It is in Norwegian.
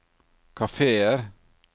kafeer